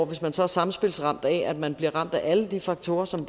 hvis man så er samspilsramt af at man bliver ramt af alle de faktorer som